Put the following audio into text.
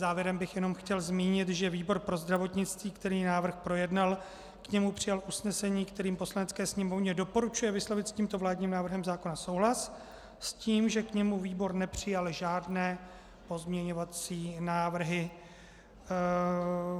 Závěrem bych jenom chtěl zmínit, že výbor pro zdravotnictví, který návrh projednal, k němu přijal usnesení, kterým Poslanecké sněmovně doporučuje vyslovit s tímto vládním návrhem zákona souhlas s tím, že k němu výbor nepřijal žádné pozměňovací návrhy.